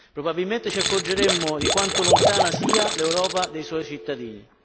probabilmente ci accorgeremmo di quanto lontana sia l'Europa dai suoi cittadini.